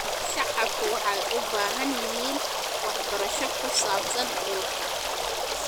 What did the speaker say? Shacabku waxay u baahan yihiin waxbarasho ku saabsan dhulka.